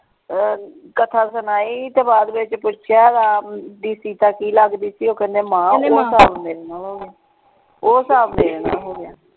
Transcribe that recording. ਅਹ ਕਥਾ ਸੁਣਾਈ ਤੇ ਬਾਅਦ ਵਿੱਚ ਪੁੱਛਿਆ ਰਾਮ ਦੀ ਸੀਤਾ ਕਿ ਲੱਗਦੀ ਸੀ ਉਹ ਕਹਿੰਦੇ ਮਾਂ ਉਹ ਸਾਹਬ ਮੇਰੇ ਨਾਲ ਹੋ ਗਿਆ ਉਹ ਸਾਹਬ ਮੇਰੇ ਨਾਲ ਹੋ ਗਿਆ।